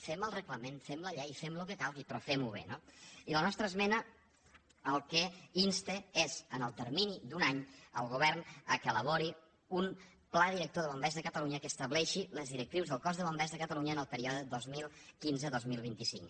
fem el reglament fem la llei fem el que calgui però fem ho bé no i la nostra esmena al que insta és en el termini d’un any el govern perquè elabori un pla director de bombers de catalunya que estableixi les directrius del cos de bombers de catalunya en el període dos mil quinze dos mil vint cinc